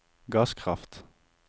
gasskraft